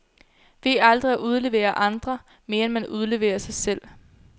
Ved aldrig at udlevere andre, mere end man udleverer sig selv.